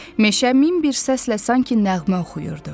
Meşə min bir səslə sanki nəğmə oxuyurdu.